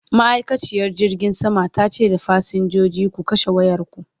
ma'aikaciyar jirgin saman tace da fasinjoji "ku kashe wayarku!"